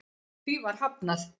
Því var hafnað